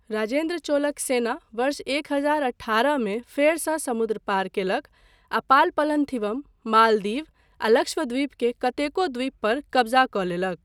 राजेन्द्र चोलक सेना वर्ष एक हजार अठारहमे फेरसँ समुद्र पार कयलक, आ पाल पलन्थिवम, मालदीव आ लक्षद्वीप के कतेको द्वीप पर कब्जा कऽ लेलक।